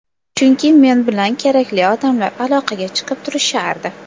Chunki men bilan kerakli odamlar aloqaga chiqib turishardi.